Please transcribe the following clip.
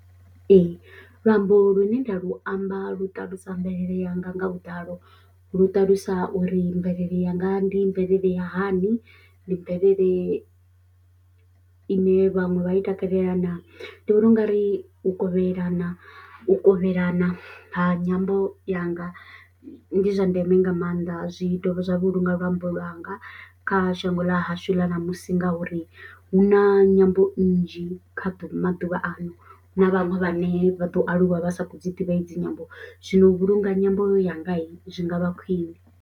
Ee, luambo lune nda lu amba lu ṱalusa mvelele yanga nga vhuḓalo lu ṱalusa uri mvelele yanga ndi mvelele ya hani, ndi mvelele ine vhaṅwe vha i takalela naa ndi vhona ungari u kovhelana u kovhelana ha nyambo yanga ndi zwa ndeme nga maanḓa zwi ita zwa vhulunga luambo lwanga kha shango ḽa hashu ḽa ṋamusi. Ngauri hu na nyambo nnzhi kha ḓuvha maḓuvha ano na vhaṅwe vhane vha ḓo aluwa vha sa khou dzi ḓivhadze nyambo zwino vhulunga nyambo yanga zwi ngavha khwine.